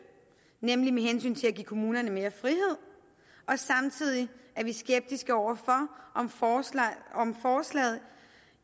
nemlig med hensyn til at give kommunerne mere frihed og samtidig er vi skeptiske over for om forslaget